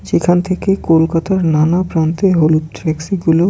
যেখান থেকে কলকাতার নানা প্রান্তে হলুদ ট্যাক্সি গুলো।